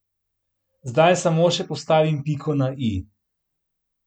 Zdaj samo še postavim piko na i.